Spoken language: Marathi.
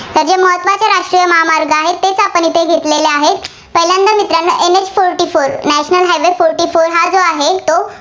आपण येथे घेतलेले आहेत, पहिल्यांदा मित्रांनो NHfortynational highway forty four हा जो आहे, तो